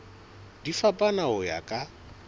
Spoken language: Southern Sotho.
di fapana ho ya ka